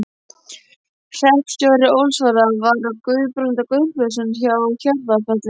Hreppstjóri Ólsara var þá Guðbrandur Guðbjartsson frá Hjarðarfelli.